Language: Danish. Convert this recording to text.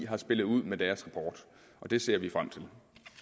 har spillet ud med deres rapport det ser vi frem til